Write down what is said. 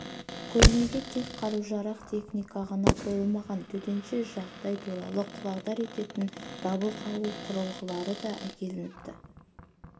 көрмеге тек қару-жарақ техника ғана қойылмаған төтенше жағдай туралы құлағдар ететін дабыл қағу құрылғылары да әкелініпті